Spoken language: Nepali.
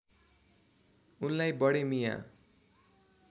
उनलाई बडे मिया